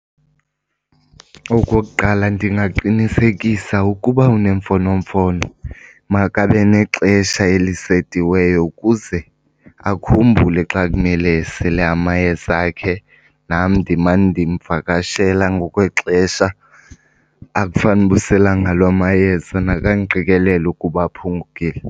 Okokuqala, ndingaqinisekisa ukuba unemfonomfono makabe nexesha elisetiweyo ukuze akhumbule xa kumele esele amayeza akhe. Nam ndimane ndimvakashela ngokwexesha akufanuba usela ngalo amayeza naxa ndiqikelela ukuba aphungukile.